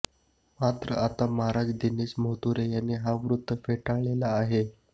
मात्र आता महाराज दिनेश मोहतुरे यांनी हे वृत्त फेटाळले आहे